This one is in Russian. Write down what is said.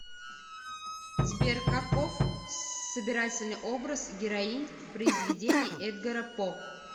сбер каков собирательный образ героинь произведений эдгара по